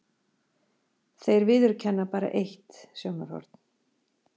Þeir viðurkenna bara eitt sjónarhorn.